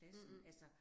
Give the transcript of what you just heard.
mhmh